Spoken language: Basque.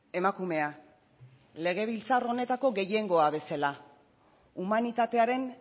emakumea legebiltzar honetako gehiengoa bezala humanitatearen